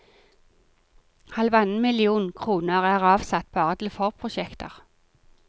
Halvannen million kroner er avsatt bare til forprosjekter.